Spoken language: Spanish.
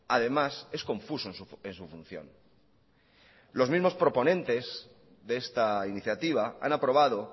además es confuso en su función los mismos proponentes de esta iniciativa han aprobado